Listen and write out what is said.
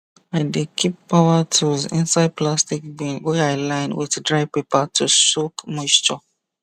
i dey keep power tools inside plastic bin wey i line with dry paper to soak moisture